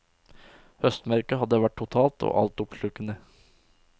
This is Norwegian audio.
Høstmørket hadde vært totalt og altoppslukende.